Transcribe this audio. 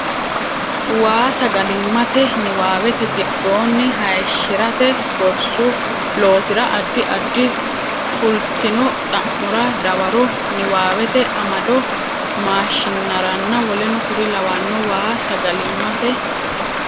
Waa sagalimmate niwaawete giddonni hayishshi rate gorsu loosira addi addi fultino xa mora dawaro niwaawete amado maashinnaranna w k l Waa sagalimmate.